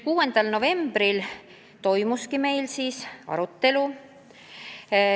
6. novembril toimuski meil selle üle arutelu.